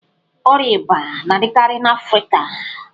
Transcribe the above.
Ọria íbà na-adịkarị n'afrịka.